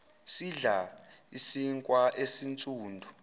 sidla isinkwa esinsundu